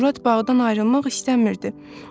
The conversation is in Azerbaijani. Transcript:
Murad bağdan ayrılmaq istəmirdi.